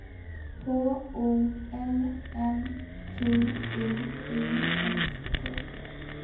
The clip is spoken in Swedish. H O L M Q U I S T